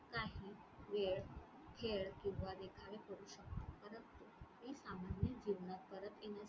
काही वेळ, खेळ किंवा देखावे करू शक्तत .